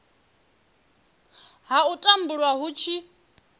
ha u tumbulwa hu tshi